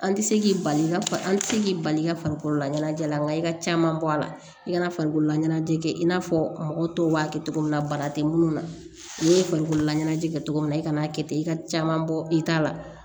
An tɛ se k'i bali i n'a fɔ an tɛ se k'i bali i ka farikolola ɲɛnajɛ la nka i ka caman bɔ a la i kana farikololaɲɛnajɛ kɛ i n'a fɔ mɔgɔ tɔw b'a kɛ cogo min na bana tɛ minnu na n'i ye farikololaɲɛnajɛ kɛ cogo min na i kana'a kɛ ten i ka caman bɔ i ta la